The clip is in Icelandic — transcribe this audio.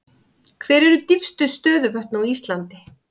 Hver eru dýpstu stöðuvötn á Íslandi?